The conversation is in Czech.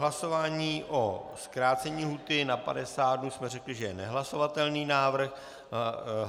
Hlasování o zkrácení lhůty na 50 dnů jsme řekli, že je nehlasovatelný návrh.